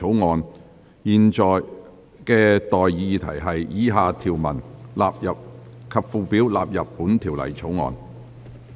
我現在向各位提出的待議議題是：以下條文及附表納入本條例草案。